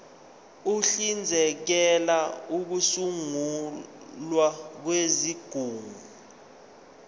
uhlinzekela ukusungulwa kwezigungu